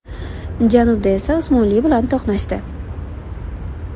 Janubda esa Usmonli bilan to‘qnashdi.